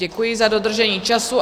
Děkuji za dodržení času.